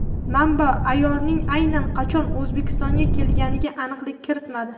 Manba ayolning aynan qachon O‘zbekistonga kelganiga aniqlik kiritmadi.